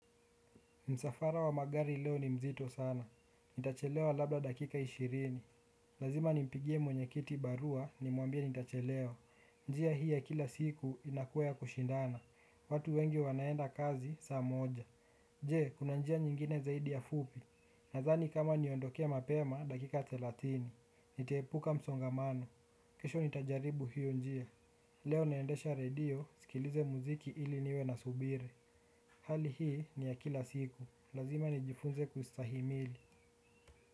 Msafara wa magari leo ni mzito sana. Nitachelewa labda dakika ishirini. Lazima nimpigie mwenyekiti barua ni muambie nitachelewa. Njia hii ya kila siku inakuwa ya kushindana. Watu wengi wanaenda kazi saa moja. Je, kuna njia nyingine zaidi ya fupi. Nadhani kama inaniondokea mapema dakika thelathini nitaepuka msongamano. Kesho nitajaribu hiyo njia. Leo naendesha redio sikilize muziki ili niwe nasubiri. Hali hii ni ya kila siku lazima nijifunze kustahimili.